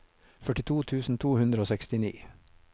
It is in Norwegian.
førtito tusen to hundre og sekstini